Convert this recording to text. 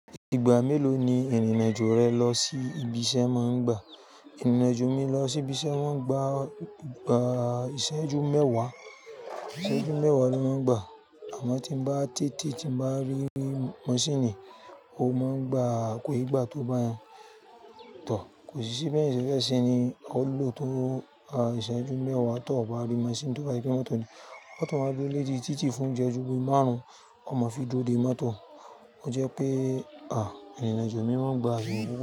Ìgbà mélòó ni ìrìnàjò rẹ lọ sí ibi iṣẹ́ máa ń gbà? Ìrìnàjò mi lọ sí ibi iṣẹ́ wọ́n gba, gba ìṣẹ́jú mẹ́wàá. Ìṣẹ́jú mẹ́wàá ló máa ń gbà. Àmọ́ tí mo bá tètè tí mo bá rí maṣíìnì, ó máa ń gba ko n gba tó bá yen to. Kò sí ṣí, bẹ́ẹ̀ ni ṣẹ́ ṣẹ́ ṣe ni ó lọ tó ìṣẹ́jú mẹ́wàá tó bá rí maṣíìnì tó bá gbé mọ́tò ni. Moto máa duro lori títì fún ìṣẹ́jú bí i márùn-ún, a máa fi dúró dé mọ́tò. Ó jẹ́ pé à, ìrìnàjò mi máa ń gba ìṣẹ́jú.